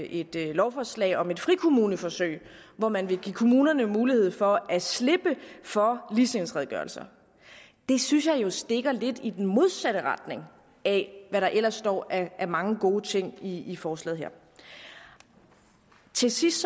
et lovforslag om et frikommuneforsøg hvor man vil give kommunerne mulighed for at slippe for ligestillingsredegørelser det synes jeg jo stikker lidt i den modsatte retning af hvad der ellers står af mange gode ting i i forslaget her til sidst